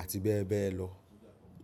àti bẹ́ẹ̀ bẹ́ẹ̀ lọ.